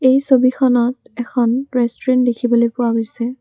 এই ছবিখনত এখন ৰেষ্টোৰেন্ত দেখিবলৈ পোৱা গৈছে।